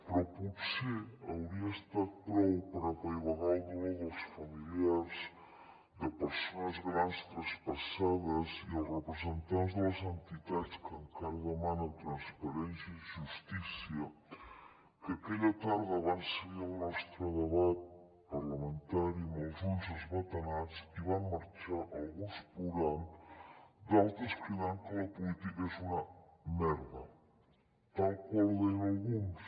però potser hauria estat prou per apaivagar el dolor dels familiars de persones grans traspassades i dels representants de les entitats que encara demanen transparència i justícia que aquella tarda van seguir el nostre debat parlamentari amb els ulls esbatanats i van marxar alguns plorant d’altres cridant que la política és una merda tal qual ho deien alguns